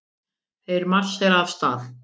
Þeir marsera af stað.